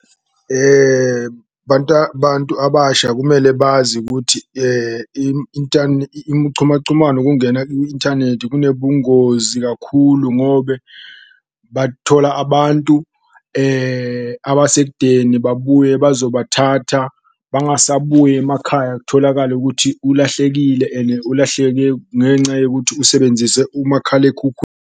Bantu abasha kumele bazi ukuthi umchumachumano kungena ku-inthanethi kunobungozi kakhulu ngobe bathola abantu abasekudeni babuye bazobathatha, bangasabuyi emakhaya. Kutholakale kuthi ulahlekile ene ulahleke ngenca yokuthi usebenzise .